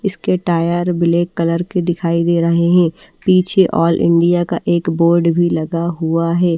इसके tyre black colour के दिखाई दे रहे हैं पीछे ऑल इंडिया का एक बोर्ड भी लगा हुआ है।